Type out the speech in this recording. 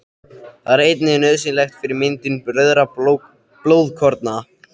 Það er einnig nauðsynlegt fyrir myndun rauðra blóðkorna.